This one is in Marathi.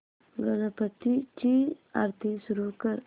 गणपती ची आरती सुरू कर